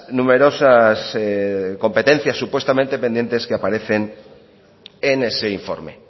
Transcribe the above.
numerosas competencias supuestamente pendientes que aparecen en ese informe